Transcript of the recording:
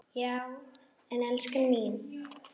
Já en elskan mín.